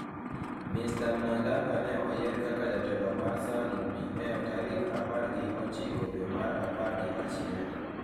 Mr. Mnangagwa ne oyiere kaka jatelo mar Zanu-PF tarik apargi ochiko dwe mar Apar gi achiel.